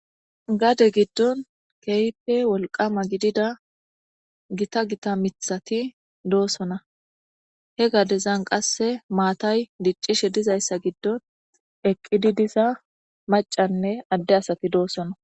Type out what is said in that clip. Gade gidon kehippe wolqama gidida githa githa mithathi deo'ssonna. He gadezan qasse mathay dicishe dizayssa gidon eqidi dizza maccanne adde assathi dossona.